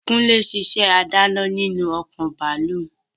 Kúnlé n sisẹ́ adáná nínú ọkọ̀ bàálù